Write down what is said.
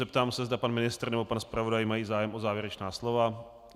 Zeptám se, zda pan ministr nebo pan zpravodaj mají zájem o závěrečná slova.